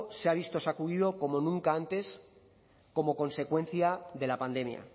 se ha visto sacudido como nunca antes como consecuencia de la pandemia